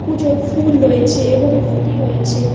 পুজোর ফুল রয়েছে এবং ঘটি রয়েছে।